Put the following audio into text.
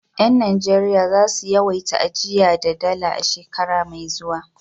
Yan Najeriya za su yawaita ajiya da Dala a shekara mai zuwa.